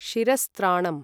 शिरस्त्राणम्